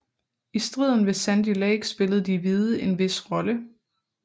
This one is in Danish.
I striden ved Sandy Lake spillede de hvide en vis rolle